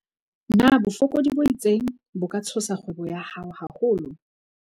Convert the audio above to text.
Na bofokodi bo itseng bo ka tshosa kgwebo ya hao haholo?